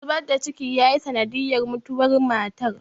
zubar da ciki yayi sanadiyar mutuwar matar